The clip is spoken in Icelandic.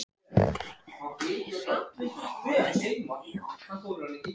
Greinilega hissa á hávaðanum í honum.